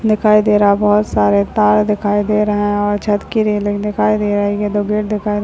दिखाई दे रहा है बहुत सारे तार दिखाई दे रहे हैं और छत की रेलिंग दिखाई दे रही है दो गेट दिखाई--